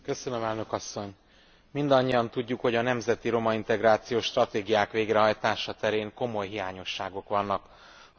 Mindannyian tudjuk, hogy a nemzeti romaintegrációs stratégiák végrehajtása terén komoly hiányosságok vannak az Unió tagállamaiban.